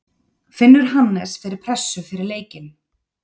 Finnur Hannes fyrir pressu fyrir leikinn?